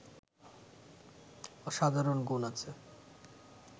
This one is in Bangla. অসাধারণ গুণ আছে